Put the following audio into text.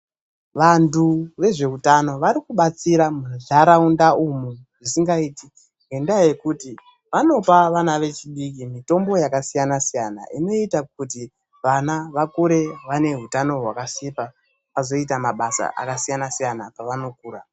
Vantu vezveutano varikubatsira munharaunda umu zvisingaiti ngendaa yekuti vanopa vana vechidiki mitombo vakasiyana-siyana, inoita kuti vana vakure vaine hutano hwakasimba kuti vazoita mabasa akasiyana siyana pavanokura.